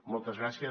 moltes gràcies